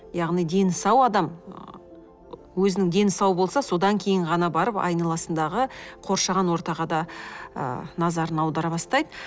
яғни дені сау адам өзінің дені сау болса содан кейін ғана барып айналасындағы қоршаған ортаға да ы назарын аудара бастайды